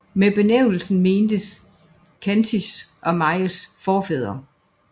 Med benævnelsen mentes khantys og mansijs forfædre